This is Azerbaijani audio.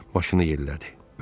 Başını yellədi.